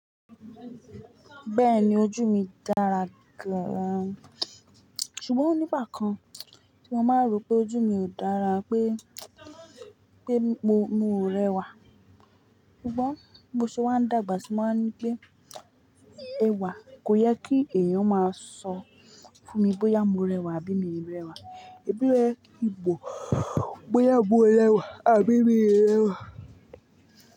Bẹ́ẹ̀ni ojú mi dára gan-an, ṣùgbọ́n nígbà kan tí mo máa ń rò pé ojú mi ò dára pé, pé mi o, mi o rẹwà. Ṣùgbọ́n bí o ṣe wá ń dàgbà sí, mo ní pé ẹwà kò yẹ kí èèyàn máa sọ fún mi bóyá mo rẹwà àbí mi ò rẹwà. Ẹbí rẹ ìbò bóyá mo rẹwà àbí mi rẹwà.